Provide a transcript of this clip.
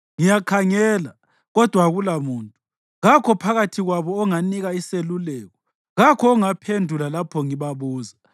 Ngiyakhangela kodwa akulamuntu, kakho phakathi kwabo onganika iseluleko, kakho ongaphendula lapho ngibabuza.